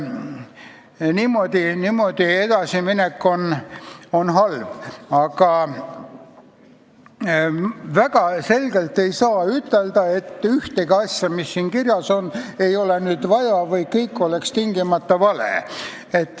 Niimoodi edasiminek on halb, aga väga selgelt ei saa ütelda, et ühtegi asja, mis siin kirjas on, ei ole vaja või et kõik on tingimata vale.